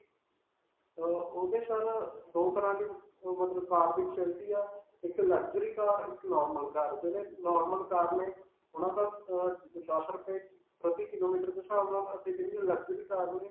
ਅਅ ਓਹਦੇ sir ਅਅ, ਦੋ ਤਰ੍ਹਾਂ ਦੇ ਮਤਲਬ car ਦੀ facility ਹੈ, ਇਕ luxury car, ਇਕ Normal car, ਜਿਵੇਂ normal car ਨੇ ਓਨ੍ਹਾਂ ਦਾ ਅਅ ਦਸ ਰੁਪਏ ਪ੍ਰਤੀ kilometer ਦੇ ਸਾਵ ਨਾਲ ਅਤੇ ਜੇਹੜੀਆਂ luxury cars ਨੇ.